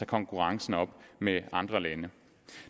konkurrencen op med andre lande